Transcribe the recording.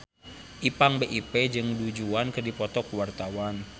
Ipank BIP jeung Du Juan keur dipoto ku wartawan